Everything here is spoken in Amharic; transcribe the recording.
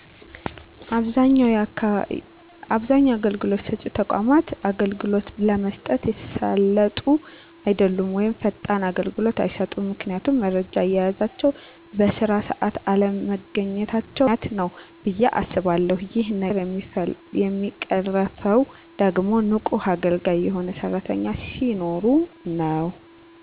አብዛኛው አገልግሎት ሰጭ ተቋማት አገልግሎት ለመስጠት የተሳለጡ አደሉም ወይም ፈጣን አገልግሎት አይሰጡም ምክንያቱም የመረጃ አያያዛቸው በስራ ሰአት አለመገኚታቸው ምክንያት ነው ብየ አስባለሁ ይህ ነገር የሚቀረፈው ደግሞ ንቁና አገልጋይ የሆኑ ሰራተኞች ሲኖሩ ነው።